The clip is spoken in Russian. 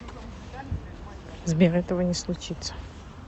сбер этого не случится